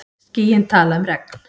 Skýin tala um regn.